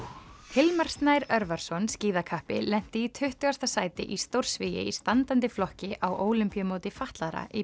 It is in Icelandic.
Hilmar Snær Örvarsson lenti í tuttugasta sæti í stórsvigi í standandi flokki á Ólympíumóti fatlaðra í